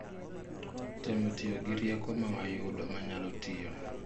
Temo tiyo gi rieko mawayudo manyalo tiyo